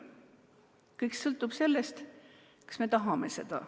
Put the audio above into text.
Kõik sõltub sellest, kas me tahame õppida.